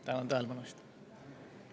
Tänan tähelepanu eest!